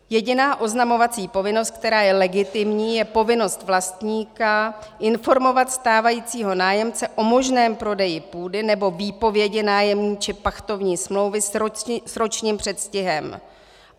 Jediná oznamovací povinnost, která je legitimní, je povinnost vlastníka informovat stávajícího nájemce o možném prodeji půdy nebo výpovědi nájemní či pachtovní smlouvy s ročním předstihem.